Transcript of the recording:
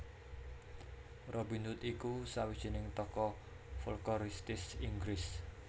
Robin Hood iku sawijining tokoh folkoristis Inggris